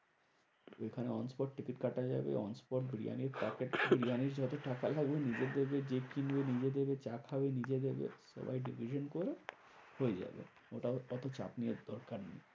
এখানে on spot ticket কাটা যাবে। on spot বিরিয়ানি packet বিরিয়ানির যত টাকা লাগবে নিজেদের gift কিনবে, নিজেদের চা খাবে, নিজে দেবে dicition করে হয়ে যাবে ওটাতে ওতো চাপ নেওয়ার দরকার নেই।